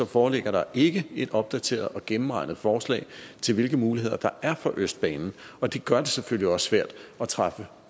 foreligger der ikke et opdateret og gennemregnet forslag til hvilke muligheder der er for østbanen og det gør det selvfølgelig også svært at træffe